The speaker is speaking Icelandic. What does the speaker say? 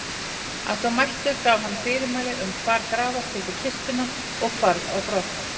Að svo mæltu gaf hann fyrirmæli um hvar grafa skyldi kistuna og hvarf á brott.